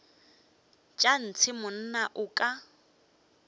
tša ntshe monna o ka